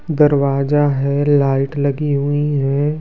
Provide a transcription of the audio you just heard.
दरवाजा है लाइट लगी हुई है।